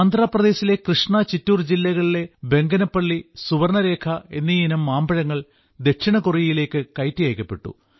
ആന്ധ്രപ്രദേശിലെ കൃഷ്ണ ചിറ്റൂർ ജില്ലകളിലെ ബംഗനപ്പള്ളി സുവർണ്ണരേഖ എന്നീ ഇനം മാമ്പഴങ്ങൾ ദക്ഷിണകൊറിയയിലേക്ക് കയറ്റി അയക്കപ്പെട്ടു